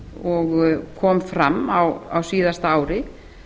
og kom fram á síðasta ári